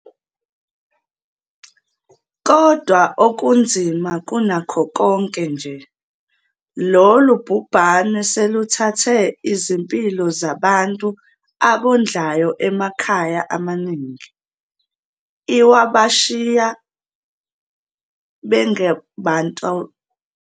Kodwa okunzima kunakho konke nje, lolu bhubhane seluthathe izimpilo zabantu abondlayo emakhaya amaningi, lwabashiya benga bantulayo futhi baphila ngokwesaba uma becabanga ngekusasa.